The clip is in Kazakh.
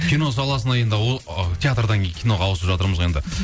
кино саласында енді ы театрдан кейін киноға ауысып жатырмыз ғой енді мхм